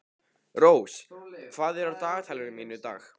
Rós, hvað er á dagatalinu mínu í dag?